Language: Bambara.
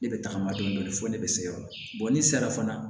Ne bɛ tagama dɔɔnin fɔ ne bɛ se o la n'i sera fana